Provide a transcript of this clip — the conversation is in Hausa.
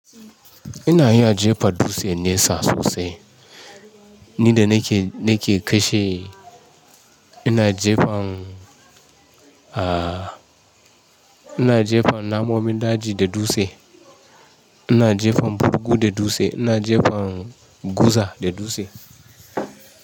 Ina iya jefa dutse nesa sosai. Ni da na ke, na ke kashe, ina jefan, ah ina jefan namomin daji da dutse, ina jefan burgu da dutse, ina jefan guza da dutse.